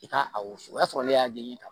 I ka a wo susu o y'a sɔrɔ ne y'a den ye tan